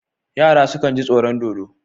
Yara sukan ji tsoron dodo.